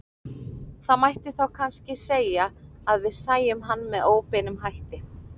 Það mætti þá kannski segja að við sæjum hann með óbeinum hætti.